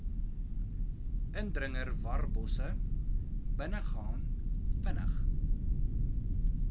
indringerwarbosse binnegaan vinnig